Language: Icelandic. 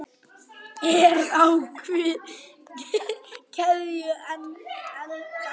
Er á keðju enda kló.